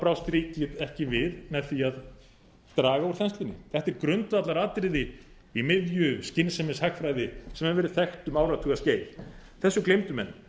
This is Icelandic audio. brást ríkið ekki við með því að draga úr þenslunni þetta er grundvallaratriði í miðju skynsemishagfræði sem hefur verið þekkt um áratugaskeið þessu gleymdu menn